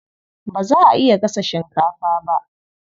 Ba za a iya gasa shinkafa ba.